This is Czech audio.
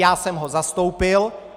Já jsem ho zastoupil.